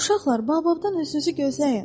Uşaqlar, baobabdan özünüzü gözləyin!